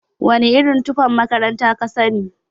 Wana irin tufan makaranta kasani?